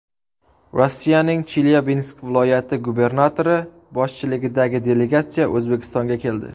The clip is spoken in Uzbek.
Rossiyaning Chelyabinsk viloyati gubernatori boshchiligidagi delegatsiya O‘zbekistonga keldi.